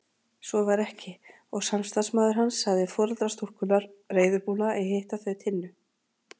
Svo var ekki og samstarfsmaður hans sagði foreldra stúlkunnar reiðubúna að hitta þau Tinnu.